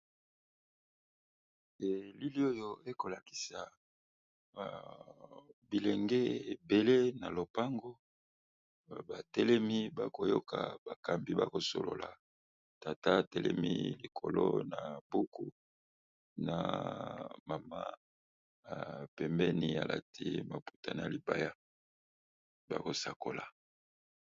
Elili oyo ekolakisa bilenge ebele na lopango batelemi bakoyoka bakambi bakosolola tata telemi likolo na buku na mama pembeni alati maputani ya libaya bakosakola.